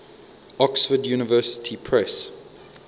oxford university press